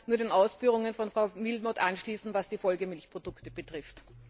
Ich kann mich nur den Ausführungen von Frau Willmott anschließen, was die Folgemilchprodukte betrifft.